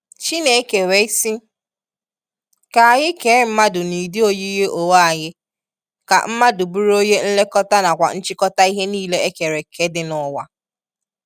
Chineke wee si, “ka anyi kee mmadu n'udi oyiyi onwe anyi Ka mmadu buru onye nlekọta na kwa nchikọta ihe nile e kere kee di n'uwa.”